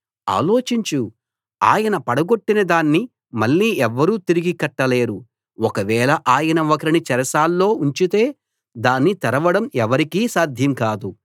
ఆలోచించు ఆయన పడగొట్టిన దాన్ని మళ్ళీ ఎవ్వరూ తిరిగి కట్టలేరు ఒకవేళ ఆయన ఒకరిని చెరసాల్లో ఉంచితే దాన్ని తెరవడం ఎవరికీ సాధ్యం కాదు